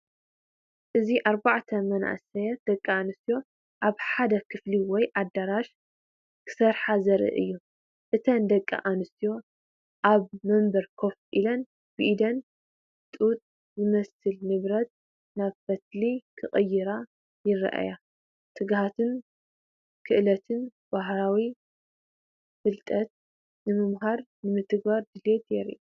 እዚ ኣርባዕተ መንእሰያት ደቂ ኣንስትዮ ኣብ ሓደ ክፍሊ ወይ ኣዳራሽ ክሰርሓ ዘርኢ እዩ። እተን ደቂ ኣንስትዮ ኣብ መንበር ኮፍ ኢለን ብኢደን ጡጥ ዝመስል ንብረት ናብ ፈትሊ ክቕይራ ይረኣያ። ትግሃትን ክእለትን! ባህላዊ ፍልጠት ንምምሃርን ንምትግባርን ድሌት የርኢ።